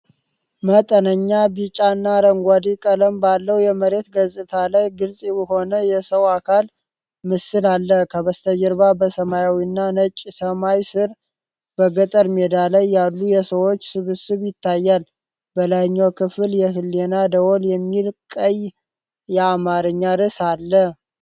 መጠነኛ ቢጫና አረንጓዴ ቀለም ባለው የመሬት ገጽታ ላይ ግልጽ የሆነ የሰው አካል ምስል አለ። ከበስተጀርባ በሰማያዊና ነጭ ሰማይ ስር፣ በገጠር ሜዳ ላይ ያሉ የሰዎች ስብስብ ይታያል። በላይኛው ክፍል 'የህሊና ደውል' የሚል ቀይ የአማርኛ ርዕስ አለ።